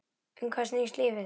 Um hvað snýst lífið?